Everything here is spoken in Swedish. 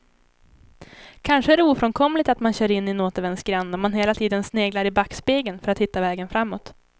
Kanske är det ofrånkomligt att man kör in i en återvändsgränd om man hela tiden sneglar i backspegeln för att hitta vägen framåt.